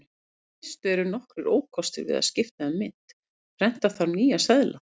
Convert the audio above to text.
Í fyrstu eru nokkrir ókostir við að skipta um mynt: Prenta þarf nýja seðla.